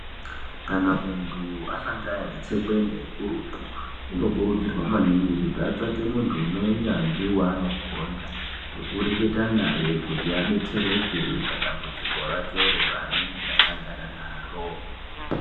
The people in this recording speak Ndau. Kana muntu asangana netsekwende hurutu unokurudzirwa maningi kuti atsvake muntu une unyanzi wanogonda wekureketa naye kuti adetsereke padamhudziko rakero kuti asagara naro.